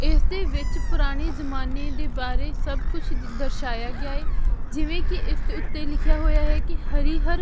ਇਸ ਦੇ ਵਿੱਚ ਪੁਰਾਣੀ ਜਮਾਨੇ ਦੇ ਬਾਰੇ ਸਭ ਕੁਝ ਦਰਸ਼ਾਇਆ ਗਿਆ ਹੈ ਜਿਵੇਂ ਕਿ ਇਸ ਦੇ ਉੱਤੇ ਲਿਖਿਆ ਹੋਇਆ ਹੈ ਕਿ ਹਰੀ ਹਰ--